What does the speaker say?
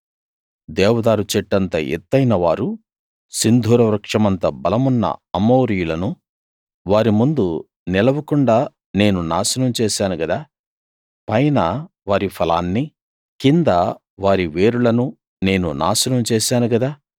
దేవదారు చెట్టంత ఎత్తయిన వారూ సింధూర వృక్షమంత బలమున్న అమోరీయులను వారి ముందు నిలవకుండా నేను నాశనం చేశాను గదా పైన వారి ఫలాన్నీ కింద వారి వేరులనూ నేను నాశనం చేశాను గదా